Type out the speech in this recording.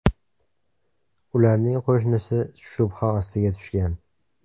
Ularning qo‘shnisi shubha ostiga tushgan.